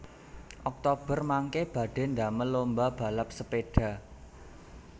Oktober mangke badhe ndamel lomba balap sepeda